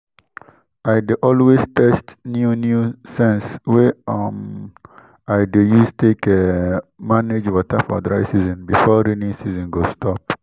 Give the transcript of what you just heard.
i dey always test new new sense wey um i dey use take um manage water for dry season before raining season go stop